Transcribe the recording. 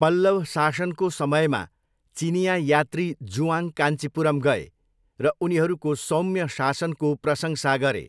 पल्लव शासनको समयमा चिनियाँ यात्री जुआङ कान्चीपुरम गए र उनीहरूको सौम्य शासनको प्रशंसा गरे।